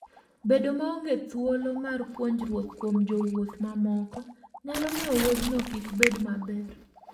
Bedo maonge thuolo mar puonjruok kuom jowuoth mamoko nyalo miyo wuodhno kik bed maber.